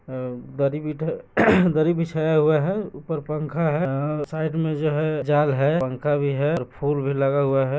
अ दरी बिठा दरी बिछाया हुआ है ऊपर पंखा है साइड में जो है जाल है पंखा भी है और फूल भी लगा हुआ है।